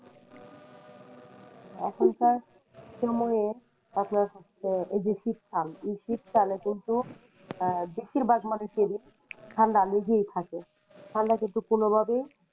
এখনকার সময়ে আপনার হচ্ছে এই যে শীতকাল এই শীতকালে কিন্তু আহ বেশির ভাগ মানুষেরই ঠাণ্ডা লেগেই থাকে ঠাণ্ডা কিন্তু কোনোভাবেই,